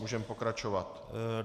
Můžeme pokračovat.